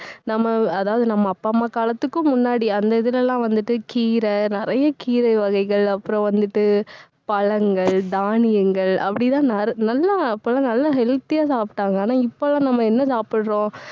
நம்ம, அதாவது, நம்ம அப்பா அம்மா காலத்துக்கும் முன்னாடி அந்த இதுல எல்லாம் வந்துட்டு கீரை நிறைய கீரை வகைகள் அப்புறம் வந்துட்டு பழங்கள் தானியங்கள் அப்படிதான் ந~ நல்லா அப்பல்லாம் நல்லா healthy ஆ சாப்பிட்டாங்க. ஆனா, இப்ப எல்லாம், நம்ம என்ன சாப்பிடுறோம்